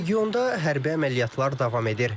Regionda hərbi əməliyyatlar davam edir.